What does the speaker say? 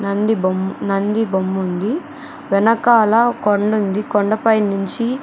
నంది బొమ్ నంది బొమ్మ ఉంది వెనకాల కొండ ఉంది కొండపై నుంచి --